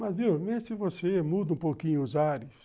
Mas viu, mesmo se você muda um pouquinho os ares,